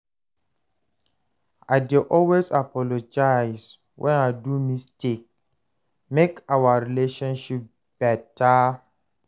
I dey always apologize wen I do mistake make our relationship beta.